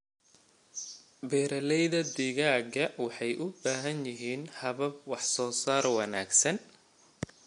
Beeralayda digaaga waxay u baahan yihiin habab wax soo saar wanaagsan.